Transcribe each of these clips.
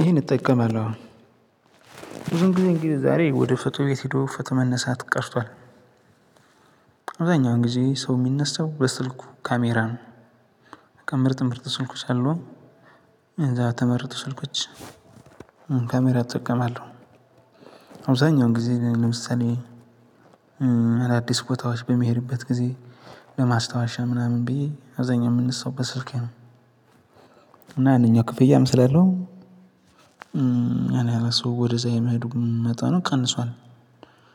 ይሄን እጠቀማለሁ ብዙም ጊዜ እንግዲህ ዛሬ ወደ ፎቶ ቤት ሄዶ ፎቶ መነሳት ቀርቷል። አብዛኛውን ጊዜ ሰው የሚነሳው በስልኩ ካሜራ ነው። በቃ ምርጥ ምርጥ ስልኮች አሉ። የተመረቱ ስልኮች ካሜራ እጠቀማለሁ። አብዛኛው ጊዜ ለምሳሌ አዳዲስ ቦታዎች በምሄድበት ጊዜ በማስታወሻ ምናምን ብዬ አብዛኛው የምነሳው ስልኬ ነው። እና ያንኛው ክፍያም ስላለው ያን ያህል ሰው ወደዛ የመሄዱ መጠኑ ቀንሷል።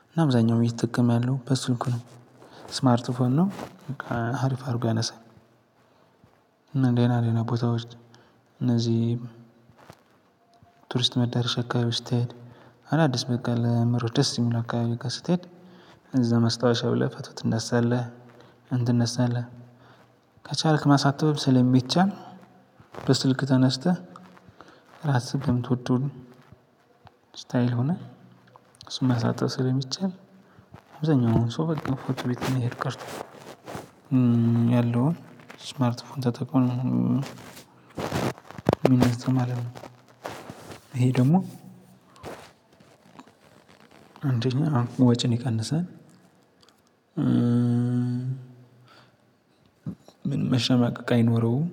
እና አብዛኛው እየተጠቀመ ያለው በስልኩ ነው። ስማርት ፎን ነው በቃ ሀሪፍ አድርጎ ያነሳል። እና ደህና ደህና ቦታዎች እነዚህ ቱሪስት መዳረሻ አካባቢ ስትሄድ አዳዲስ በቃ ለመሮጥ ደስ የሚል አካባቢ ጋር ስትሄድ እዛ ማስታወሻ ብለህ ፎቶ ትነሳለህ። ከቻልክ ማሳተምም ስለሚቻል በስልክህ ተነስተህ ራስህ የምትወደውን ስታይል ሆነ እሱን ማሳጠብ ስለሚቻል አብዛኛው ሰው በቃ ፎቶ ቤት መሄድ ቀርቶ ያለውን ስማርት ፎን ተጠቅሞ። ይሄ ደግሞ አንደኛ ወጪን ይቀንሳል። ምንም መሸማቀቅ አይኖረውም።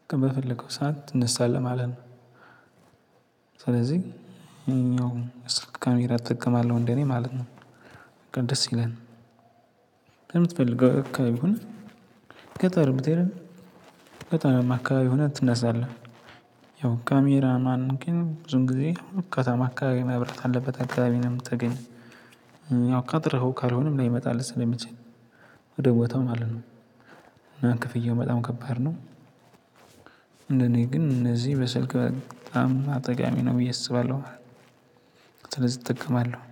በቃ በፈለከው ሰዓት ትንሳለህ ማለት ነው። ስለዚህ ያኛውን ካሜራ እጠቀማለሁ እንደኔ ማለት ነው። በቃ ደስ ይላል። ከምትፈልገው አካባቢ ሁን ገጠር ብትሄድም ከገጠር አካባቢ ሆነህ ትነሳለህ። ያው ካሜራ ማን ግን ብዙን ጊዜ ከተማ አካባቢ መብራት ያለበት አካባቢ ነው የምታገኝው። ያው ቀጥረኸው ካልሆነም ላይመጣልህ ስለሚችል ወደ ቦታው ማለት ነው። እና ክፍያው በጣም ከባድ ነው። እንደኔ ግን እንደዚህ በስልክ በጣም ጠቃሚ ነው ብዬ አስባለሁ። ስለዚህ እጠቀማለሁ